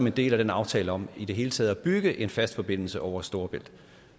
en del af aftalen om i det hele taget at bygge en fast forbindelse over storebælt